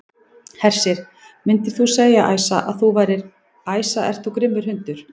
Hersir: Myndir þú segja, Æsa, að þú værir, Æsa ert þú grimmur hundur?